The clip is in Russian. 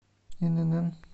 инн